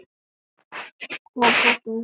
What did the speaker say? En það verður betra.